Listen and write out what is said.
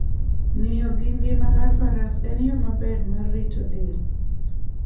Ng'iyo gi ngima mar faras en yo maber mar rito del.